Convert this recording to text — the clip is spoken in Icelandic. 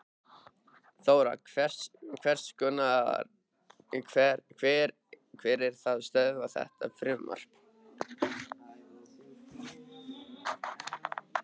Þóra: Hver er að stöðva þetta frumvarp?